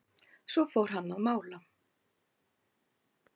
Svo fór hann að mála.